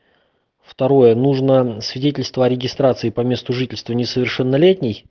второе нужно свидетельство о регистрации по месту жительства несовершеннолетней